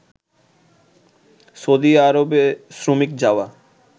Saudi আরবে শ্রমিক যাওয়া